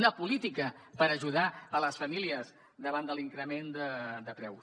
una política per ajudar les famílies davant de l’increment de preus